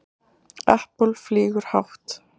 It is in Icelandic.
Apple flýgur hátt